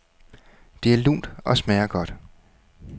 Det er lunt og smager godt.